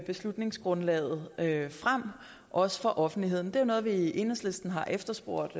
beslutningsgrundlaget frem også for offentligheden det er jo noget vi i enhedslisten har efterspurgt